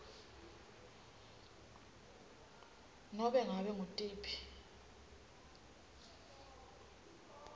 nobe ngabe ngutiphi